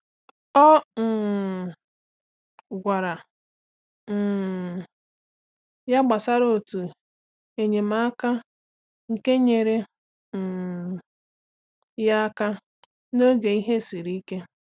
Ọ um gwara um ya gbasara otu enyemaka nke nyere um ya aka n’oge ihe siri ike.